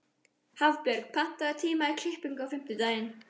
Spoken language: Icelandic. Hafbjörg, pantaðu tíma í klippingu á fimmtudaginn.